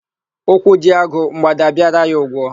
Ụkwụ jie agụ, mgbada abịara ya ụgwọ.